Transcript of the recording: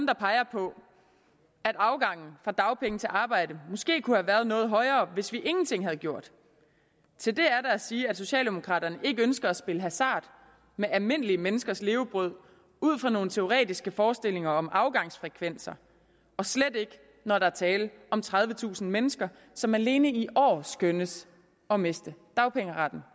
der peger på at afgangen fra dagpenge til arbejde måske kunne have været noget højere hvis vi ingenting havde gjort til det er der at sige at socialdemokraterne ikke ønsker at spille hasard med almindelige menneskers levebrød ud fra nogle teoretiske forestillinger om afgangsfrekvenser og slet ikke når der er tale om tredivetusind mennesker som alene i år skønnes at miste dagpengeretten